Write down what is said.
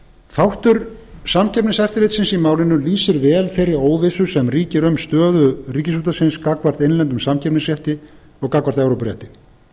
þáttur samkeppniseftirlitsins í málinu lýsir vel þeirri óvissu sem ríkir um stöðu ríkisútvarpsins gagnvart innlendum samkeppnisrétti og gagnvart evrópurétti